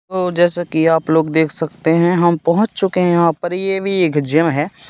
और जैसा कि आप लोग देख सकते हैं हम पहुंच चुके हैं यहां पर ये भी एक जिम है।